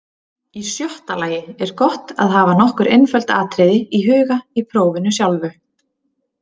Í sjötta lagi er gott að hafa nokkur einföld atriði í huga í prófinu sjálfu.